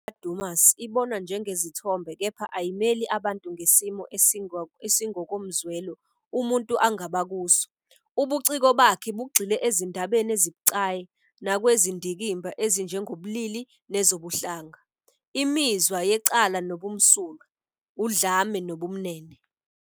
Imidwebo kaDumas ibonwa njengezithombe kepha ayimeli abantu ngesimo esingokomzwelo umuntu angaba kuso. Ubuciko bakhe bugxile ezindabeni ezibucayi nakwizindikimba ezinjengobulili nezobuhlanga, imizwa yecala nobumsulwa, udlame nobumnene.